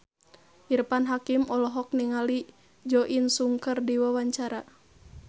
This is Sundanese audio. Irfan Hakim olohok ningali Jo In Sung keur diwawancara